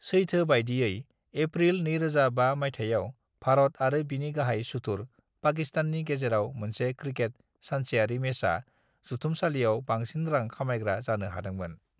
"सैथो बायदियै, एप्रिल 2005 मायथायाव भारत आरो बिनि गाहाय-सुथुर पाकिस्ताननि गेजेराव मोनसे क्रिकेटनि सानसेयारि मैचआ जुथुमसालियाव बांसिन रां खामायग्रा जानो हादोंमोन।"